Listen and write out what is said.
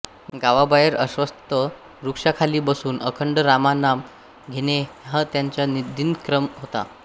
गावाबाहेर अश्वत्थ वृक्षाखाली बसून अखंड रामनाम घेणे हा त्यांचा दिनक्रम होता